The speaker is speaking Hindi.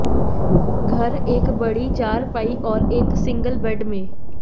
घर एक बड़ी चारपाई और एक सिंगल बेड में